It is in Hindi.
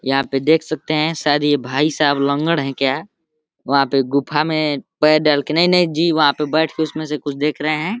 यहां पे देख सकते हैं शायद ये भाई साहब लँगड़ है क्या ? वहाँ पे गुफा में पैर डाल के नहीं नहीं जी वहां पे बैठ के उसमें से कुछ देख रहे हैं।